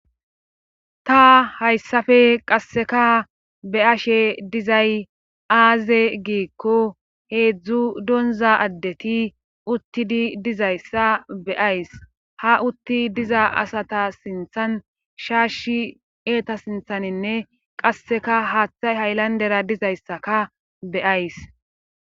Ta hayssafe qasseka be ashe dizay aaze giikko heedzdzu donza addeti uttidi dizayssa beyays ha utti diza asata sinthan shaashi eeta sinthaninne qasseka haaththay haylandera dizayssaka beyays